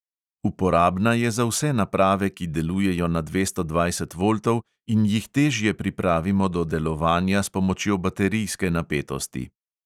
Uporabna je za vse naprave, ki delujejo na dvesto dvajset voltov in jih težje pripravimo do delovanja s pomočjo baterijske napetosti.